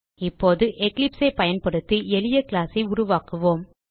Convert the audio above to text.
இப்போது Eclipseஐ பயன்படுத்தி எளிய கிளாஸ் ஐ உருவாக்குவோம்